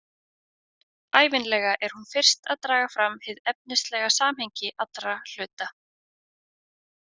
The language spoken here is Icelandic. Ævinlega er hún fyrst að draga fram hið efnislega samhengi allra hluta.